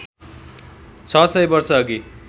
६ सय वर्षअघि